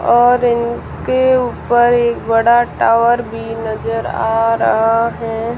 और इनके ऊपर एक बड़ा टावर भी नजर आ रहा है।